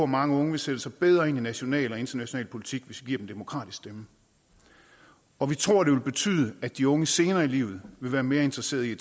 mange unge vil sætte sig bedre ind i national og international politik hvis vi giver dem en demokratisk stemme og vi tror at det vil betyde at de unge senere i livet vil være mere interesseret i